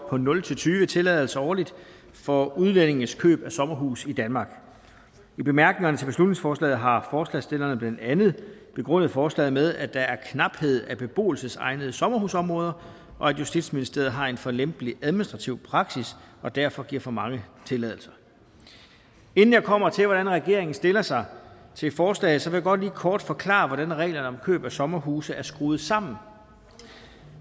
på nul tyve tilladelser årligt for udlændinges køb af sommerhus i danmark i bemærkningerne til beslutningsforslaget har forslagsstillerne blandt andet begrundet forslaget med at der er knaphed på beboelsesegnede sommerhusområder og at justitsministeriet har en for lempelig administrativ praksis og derfor giver for mange tilladelser inden jeg kommer til hvordan regeringen stiller sig til forslaget vil jeg godt lige kort forklare hvordan reglerne om køb af sommerhuse er skruet sammen